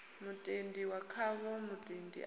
mutendi wa khavho mutendi a